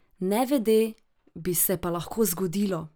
Nevede bi se pa lahko zgodilo.